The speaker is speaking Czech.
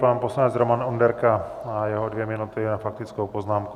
Pan poslanec Roman Onderka a jeho dvě minuty na faktickou poznámku.